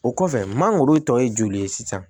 O kɔfɛ mangoro tɔ ye joli ye sisan